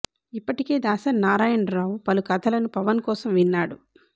ఇప్పటికే దాసరి నారాయణ రావు పలు కథలను పవన్ కోసం విన్నాడు